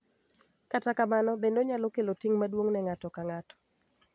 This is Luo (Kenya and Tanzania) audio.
Kata kamano, bende onyalo kelo ting� maduong� ne ng�ato ka ng�ato,